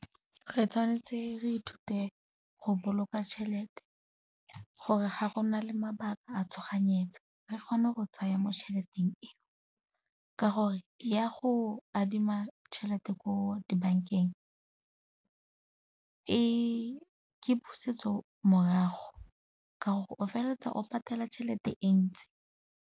Re tshwanetse re ithute go boloka tšhelete gore ga go na le mabaka a tshoganyetso re kgone go tsaya mo tšheleteng e, ka gore ya go adima tšhelete ko dibankeng ke pusetso morago ka gore o feleletsa o patela tšhelete e ntsi.